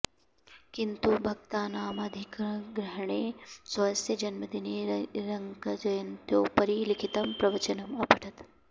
किन्तु भक्तानामधिकाग्रहेण स्वस्य जन्मदिने रङ्गजयन्त्योपरि लिखितम् प्रवचनम् अपठत्